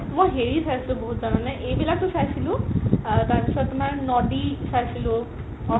মই হেৰি চাইছো বহুত জনা নে এইবিলাকটো চাইছিলো আৰু তাৰ পিছত তুমাৰ নদি চাইছিলো